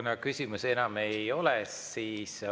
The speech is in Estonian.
Kuna küsimusi enam ei ole, siis …